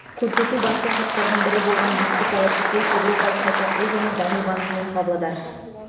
көрсету басты шарттардың бірі болған еске сала кетейік еуропалық қайта құру және даму банкімен павлодар